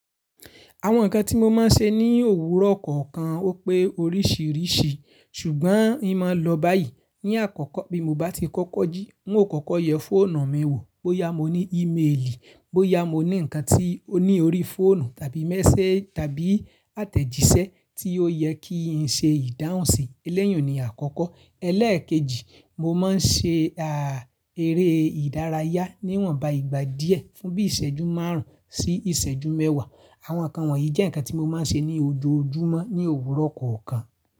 Àwọn ǹkan tí mo máa ń ṣe ní òwúrọ̀ kọ̀ọ̀kan ó pé oríṣìíríṣìí, ṣùgbọ́n in máa lọ báyìí. Ní àkọ́kọ́ bí mo bá ti kọ́kọ́ jí, n ó kọ́kọ́ yẹ fóònù mi wò bóyá mo ní íméèlì, bóyá mo ní ǹkan tí ó ní orí fóònù tàbí méséjì tàbí àtẹ̀jíṣẹ́ tí ó yẹ kí n ṣe ìdáhùnsi. Eleyi un ni àkọ́kọ́. Elẹ́ẹ̀kejì, mo máa ń ṣe, ààh, eré ìdárayá níwọ̀nba ìgbà díẹ̀ fún bí ìṣẹ́jú márùn-ún sí ìṣẹ́jú mẹ́wàá. Àwọn ǹkan wọ̀nyí jẹ́ ǹkan tí mo máa ń ṣe ní ojoojúmọ́ ní òwúrọ̀ kọ̀ọ̀kan.